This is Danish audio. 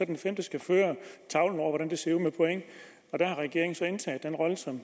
den femte skal føre tavlen over hvordan det ser ud med point der har regeringen så indtaget rollen som